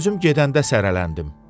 Özüm gedəndə sərələndim.